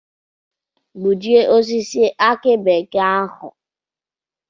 Gbujie osisi aki bekee ahu!